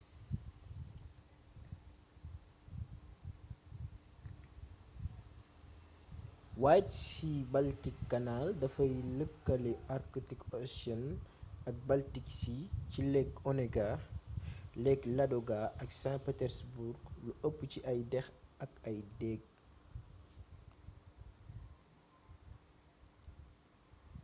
white sea-baltic canal dafay lëkkale arctic ocean ak baltic sea ci lake onega lake ladoga ak saint petersburg lu ëpp ci ay déx ak ay déég